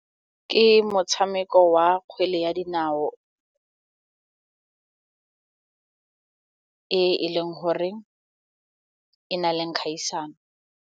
Ke motshameko wa kgwele ya dinao e e leng gore e na le kgaisano.